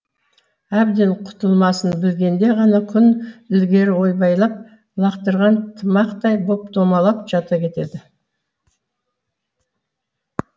әбден құтылмасын білгенде ғана күн ілгері ойбайлап лақтырған тымақтай боп домалап жата кетеді